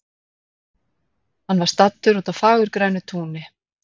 Hann var staddur úti á fagurgrænu túni.